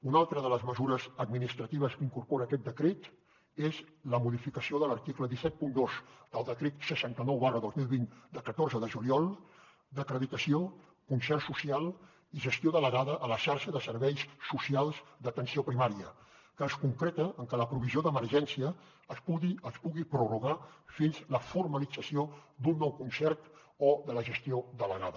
una altra de les mesures administratives que incorpora aquest decret és la modificació de l’article cent i setanta dos del decret seixanta nou dos mil vint de catorze de juliol d’acreditació concert social i gestió delegada a la xarxa de serveis socials d’atenció primària que es concreta en que la provisió d’emergència es pugui prorrogar fins la formalització d’un nou concert o de la gestió delegada